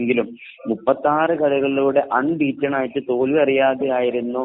എങ്കിലും മുപ്പത്തിയാറു കളികളിലൂടെ അൺ ബീറ്റൻ ആയിട്ട് തോൽവി അറിയാതെ ആയിരുന്നു